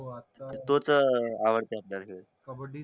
तोच आवडते आपल्याला खेळ